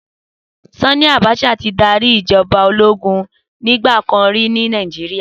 Sani Abacha ti dàrí ijòbá ólógùn nigbàkán ri ni Nàijiriá